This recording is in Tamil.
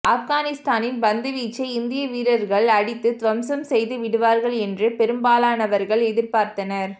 ஆப்கானிஸ்தானின் பந்து வீச்சை இந்திய வீரர்கள் அடித்து துவம்சம் செய்து விடுவார்கள் என்று பெரும்பாலானவர்கள் எதிர்பார்த்தனர்